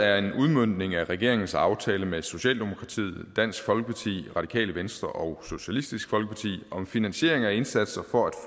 er en udmøntning af regeringens aftale med socialdemokratiet dansk folkeparti radikale venstre og socialistisk folkeparti om finansiering af indsatser for at